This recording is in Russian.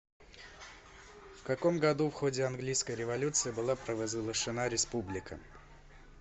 в каком году в ходе английской революции была провозглашена республика